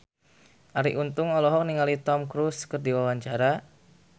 Arie Untung olohok ningali Tom Cruise keur diwawancara